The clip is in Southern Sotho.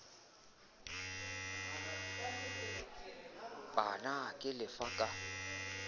p na ke lefa ka